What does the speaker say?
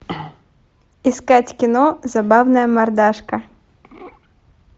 искать кино забавная мордашка